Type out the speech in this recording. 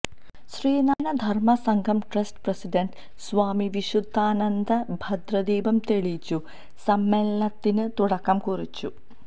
Sreenarayana Dharma Sangham trust president Swami Vishudhananda ഭദ്രദീപം തെളിച്ചു സമ്മേളനത്തിന് തുടക്കം കുറിച്ചു